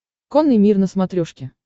конный мир на смотрешке